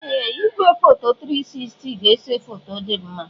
Ee! Igwefoto 360 ga-ese foto dị mma.